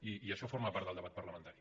i això forma part del debat parlamentari